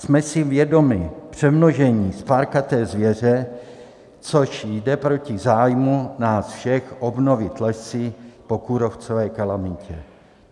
Jsme si vědomi přemnožení spárkaté zvěře, což jde proti zájmu nás všech obnovit lesy po kůrovcové kalamitě.